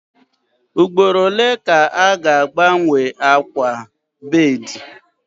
Ugboro ole ka a ga-agbanwe akwa bedii?